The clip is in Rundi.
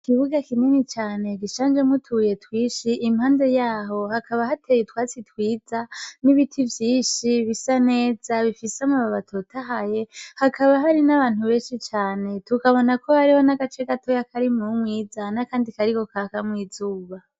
Ikibuga kinini cane gishanjemwo utubuye twinshi. Impande y'aho, hakaba hateye utwatsi twiza n'ibiti vyinshi bisa neza, bifise amababi atotahaye. Hakaba hari n'abantu benshi cane. Tukabonako hariho agace gatoya Kari mu mwiza n'akandi kariko kakamwo izuba.